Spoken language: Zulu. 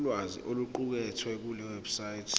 ulwazi oluqukethwe kulewebsite